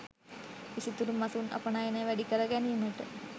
විසිතුරු මසුන් අපනයනය වැඩි කර ගැනීමට